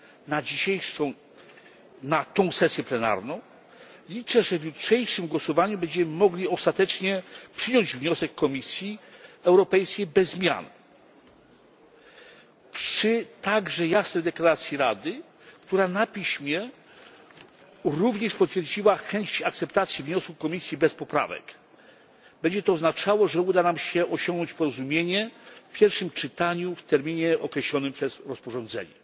na tę sesję plenarną. Liczę, że w jutrzejszym głosowaniu będziemy mogli ostatecznie przyjąć wniosek Komisji Europejskiej bez zmian. Przy jasnej deklaracji Rady, która na piśmie również potwierdziła chęć akceptacji wniosku Komisji bez poprawek, będzie to oznaczało, że uda nam się osiągnąć porozumienie w pierwszym czytaniu w terminie określonym przez rozporządzenie.